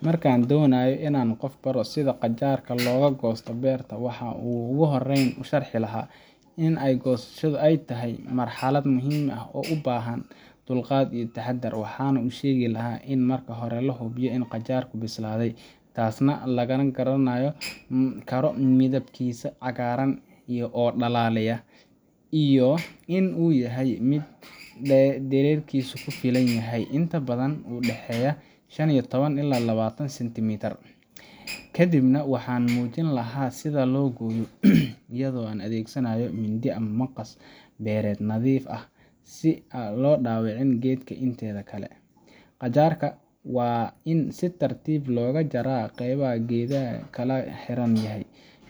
Marka aan doonayo in aan qof baro sida qajaar looga goosto beerta, waxaan ugu horreyn sharxi lahaa in goosashada ay tahay marxalad muhiim ah oo u baahan dulqaad iyo taxaddar. Waxaan u sheegi lahaa in marka hore la hubiyo in qajaarku bislaaday taasna lagu garan karo midabkiisa cagaaran oo dhalaalaya iyo in uu yahay mid dhererkiisu ku filan yahay, inta badan u dhexeeya shan iyo toban ilaa labatan centimeter. Kadibna waxaan muujin lahaa sida loo gooyo: iyadoo la adeegsanayo mindi ama maqas beereed nadiif ah, si aan loo dhaawicin geedka inteeda kale. Qajaarka waa in si tartiib ah looga jaraa qaybta uu geedka kaga xiran yahay,